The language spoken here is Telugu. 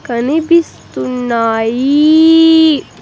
కనిపిస్తున్నాయీ .